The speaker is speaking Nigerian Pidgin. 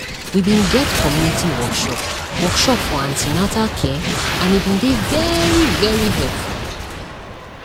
we bin get community workshop workshop for an ten atal care and e bin dey very very helpful